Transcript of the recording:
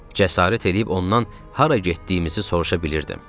Cəsarət eləyib ondan hara getdiyimizi soruşa bilirdim.